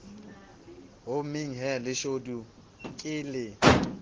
hommeng he leshodu ke le